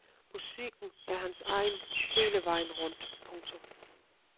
Musikken er hans egen hele vejen rundt. punktum